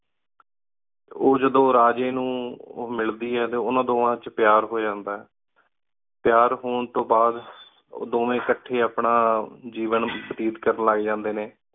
ਉਜੜੁ ਰਾਜੀ ਨੂ ਮਿਲਦੀ ਆਯ ਉਨਾ ਦੁਵਾਂ ਚ ਪ੍ਯਾਰ ਹੂ ਜਾਂਦਾ ਪ੍ਯਾਰ ਹੁਣ ਤੂੰ ਬਾਦ ਉਦੁਨ ਵ੍ਯੰ ਅਖ੍ਟੀ ਆਪਣਾ ਜਿਵੇਂ ਬੇਟ ਕਰਨ ਲਘ ਜਾਂਦੀ ਨਯਨ